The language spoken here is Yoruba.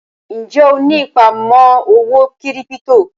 Ń jẹ́ ó ní ìpamọ́ owó kírípítò?